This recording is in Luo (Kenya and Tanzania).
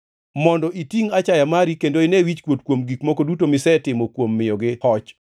mondo itingʼ achaya mari kendo ine wichkuot kuom gik moko duto misetimo kuom miyogi hoch.